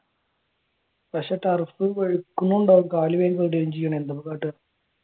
പക്ഷെ ടർഫ് വെളുക്കുമ്പോ ഉണ്ടാകും